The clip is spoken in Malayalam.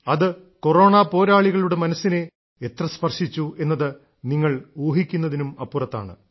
അത് കൊറോണാ പോരാളികളുടെ മനസ്സിനെ എത്ര സ്പർശിച്ചു എന്നത് നിങ്ങൾ ഊഹിക്കുന്നതിനും അപ്പുറത്താണ്